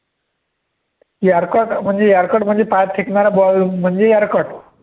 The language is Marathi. yorker म्हणजे yorker म्हणजे पायात फेकणारा ball म्हणजे yorker